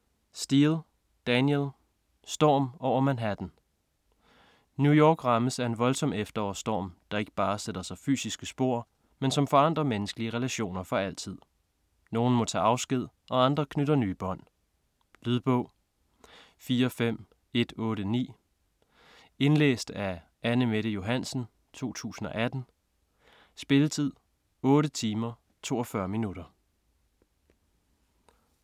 Steel, Danielle: Storm over Manhattan New York rammes af en voldsom efterårsstorm, der ikke bare sætter sig fysiske spor, men som forandrer menneskelige relationer for altid. Nogen må tage afsked og andre knytter nye bånd. Lydbog 45189 Indlæst af Anne-Mette Johansen, 2018. Spilletid: 8 timer, 42 minutter.